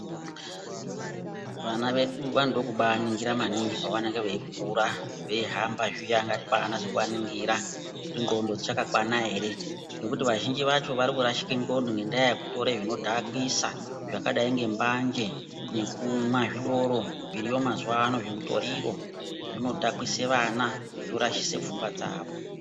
Vana vedu vanoda kubaaningira maningi pavanenge veikura. Veihamba zviya ngatibaanase kuvaningira kuti ngqondo dzichakakwana ere? Ngekuti vazhinji vacho varikurashike ngqondo ngendaa yekutora zvinodhakwisa, zvakadai ngembanje nekumwa zvidoro zviriyo mazuwaano, zvimutoriro zvinodhakwise vana zvorashise pfungwa dzavo.